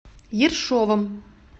ершовом